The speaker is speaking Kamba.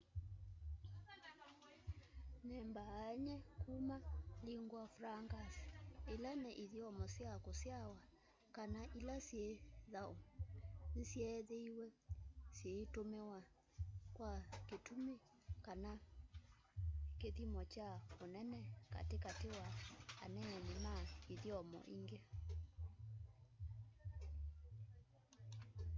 nĩ mbaany'e kuma lingua francas ila ni ithyomo sya kũsyawa kana ĩla syĩ thaũ nĩ syeethĩĩwe syĩĩtũmĩwa kwa kĩtũmĩ kana kĩthyĩmo kya ũnene katĩ katĩ wa aneeni ma ithyomo ĩngĩ